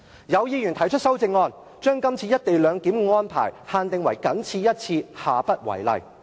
有議員提出修正案，將這次"一地兩檢"的安排限定為"僅此一次，下不為例"。